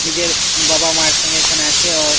নিজের বাবা মায়ের সঙ্গে এখানে আছে অ-অ--